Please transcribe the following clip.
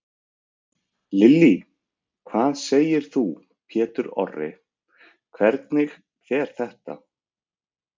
Lillý: Hvað segir þú Pétur Orri, hvernig fer þetta?